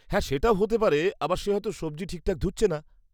-হ্যাঁ, সেটাও হতে পারে আবার সে হয়তো সবজি ঠিকঠাক ধুচ্ছে না।